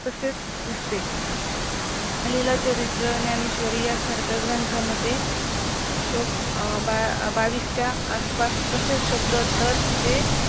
तसेच दिसते आलेल्या चरित्र, ज्ञानेश्वरी यासारख्या ग्रंथामध्ये श्लोक बावीस च्या आसपास तशेच शब्द ते